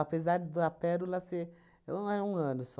da Pérola ser um um ano só.